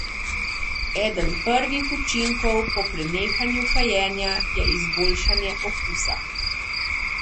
Eden prvih učinkov po prenehanju kajenja je izboljšanje okusa.